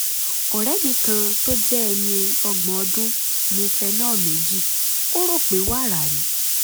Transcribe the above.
ọ̀rẹ́ mi kan tó jẹ́ ẹni ọgbọ̀n ọdún mu phenol méjì ó rò pé pé wàrà ni